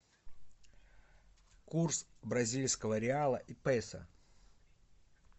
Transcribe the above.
курс бразильского реала и песо